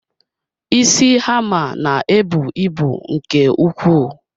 Isi hammer ná-ebu ịbụ nke ukwuu.